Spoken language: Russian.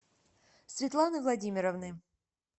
светланы владимировны